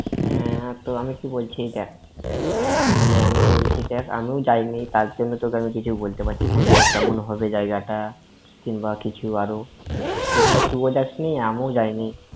হ্যাঁ তো আমি বলছি দ্যাখ, মানে আমি বলছি দ্যাখ, আমিও যাইনি তার জন্য তোকে আমি কিছু বলতে পারছি না যে কেমন হবে জায়গাটা, কিংবা কিছু আরও। এখানে তুই ওঁ যাসনি, আমি ওঁ যাইনি।